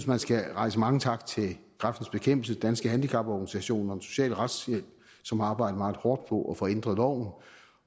man skal rette mange tak til kræftens bekæmpelse danske handicaporganisationer og den sociale retshjælp som har arbejdet meget hårdt på at få ændret loven